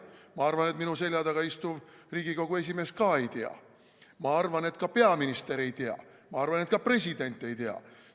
Ma arvan, et minu selja taga istuv Riigikogu esimees ka ei tea, ma arvan, et ka peaminister ei tea, ma arvan, et ka president ei tea.